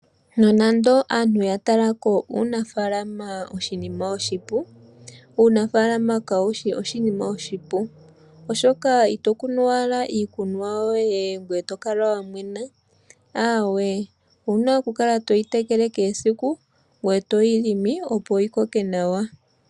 Nonando aantu yatalako uunafaalama oshinima oshipu, uunafaalama kawushi oshinima oshipu oshoka ito kunu wala iikunwa yoye ngoye tokala wamwena, aawe, owuna okukala toyi tekele kehesiku ngoye toyi limi opo yikoke nawa.